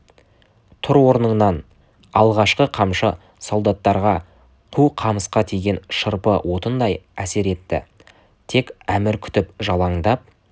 тұр орныңнан алғашқы қамшы солдаттарға қу қамысқа тиген шырпы отындай әсер етті тек әмір күтіп жалаңдап